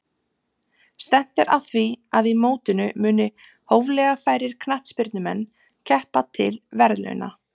Stefnt er að því að í mótinu muni hóflega færir knattspyrnumenn keppa til verðlauna.